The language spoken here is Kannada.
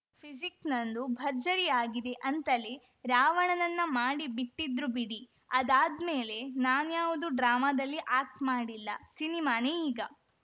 ಪಿಜಿಕ್‌ ನಂದು ಭರ್ಜರಿ ಆಗಿದೆ ಅಂತಲೇ ರಾವಣನನ್ನ ಮಾಡಿ ಬಿಟ್ಟಿದ್ರು ಬಿಡಿ ಆದಾದ್ಮೇಲೆ ನಾನ್ಯಾವುದು ಡ್ರಾಮಾದಲ್ಲಿ ಆ್ಯಕ್ಟ್ ಮಾಡಿಲ್ಲ ಸಿನಿಮಾನೇ ಈಗ